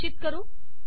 रक्षित करू